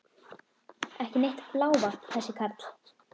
Ekki neitt blávatn þessi karl!